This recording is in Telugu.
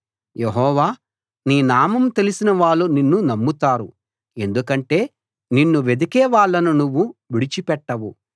యెహోవా నీ నామం తెలిసిన వాళ్ళు నిన్ను నమ్ముతారు ఎందుకంటే నిన్ను వెదికే వాళ్ళను నువ్వు విడిచిపెట్టవు